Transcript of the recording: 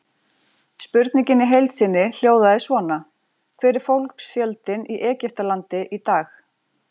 Spurningin í heild sinni hljóðaði svona: Hver er fólksfjöldinn í Egyptalandi í dag?